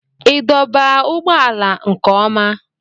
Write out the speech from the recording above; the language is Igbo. Ị dọba ụgbọala nke ọma?